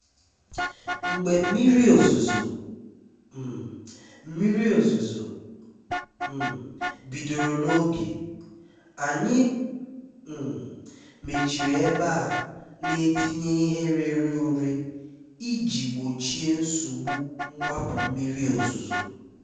Mgbé mmírí òzúzó um mmírí òzúzó um bídóró n’ógé, ànyị́ um méchírí ébé à nà-étínyé íhé réré úré íjí gbóchíé nsógbú mgbápú mmírí òzúzó.